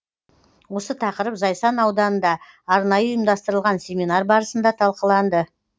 осы тақырып зайсан ауданында арнайы ұйымдастырылған семинар барысында талқыланды